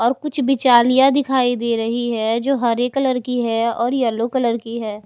और कुछ बिचालिया दिखाई दे रही है जो हरे कलर की है और येलो कलर की है।